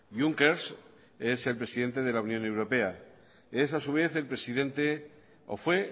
juncker es el presidente de la unión europea es a su vez o fue